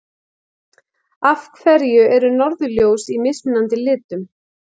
Af hverju eru norðurljós í mismunandi litum?